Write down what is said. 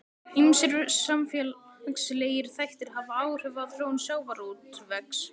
Ýmsir samfélagslegir þættir hafa áhrif á þróun sjávarútvegs.